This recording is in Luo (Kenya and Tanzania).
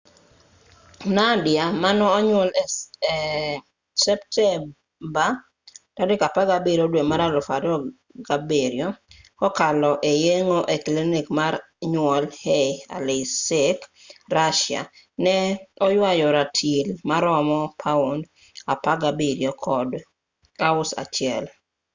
nadia manonyuol e septemba 17,2007 kokalo yeng'o e klinik mar nyuol ei aleisk russia ne oywayo ratil maromo paund 17 kod ounce 1